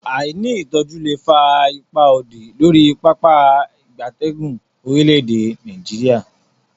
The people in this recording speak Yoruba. Aini itoju le fa ipa odi lori Pápá ìgbatẹ́gùn orile-ede Nigeria.